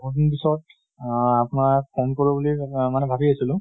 বহু দিন পিছত আহ আপোনাক phone কৰো বুলি মানে ভাবি আছিলো